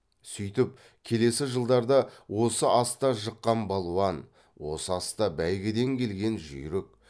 сүйтіп келесі жылдарда осы аста жыққан балуан осы аста бәйгеден келген жүйрік